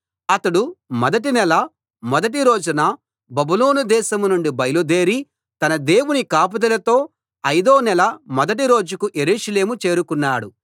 అతడు మొదటి నెల మొదటి రోజున బబులోను దేశం నుండి బయలుదేరి తన దేవుని కాపుదలతో ఐదో నెల మొదటి రోజుకు యెరూషలేము చేరుకున్నాడు